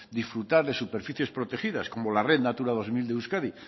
disfrutar de superficies protegidas como la red natura dos mil de euskadi